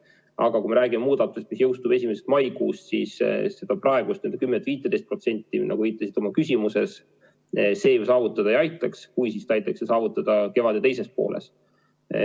Aga kui me räägime muudatusest, mis jõustub 1. mail, siis seda 10–15%, millele te viitasite oma küsimuses, see ju saavutada ei aitaks või kui aitakski, siis kevade teises.